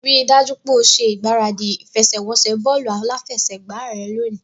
Rí i dájú pé o ṣe ìgbáradì ìfẹsẹ̀wọnsẹ̀ bọ́ọ̀lù aláfẹsẹ̀gbá rẹ lónìí